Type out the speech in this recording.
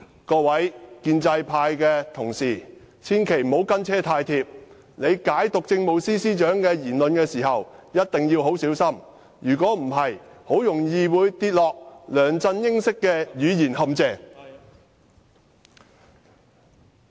各位建制派同事，千萬不要跟車太貼，你們解讀政務司司長的言論時，一定要很小心，否則很容易會跌落梁振英式的語言陷阱。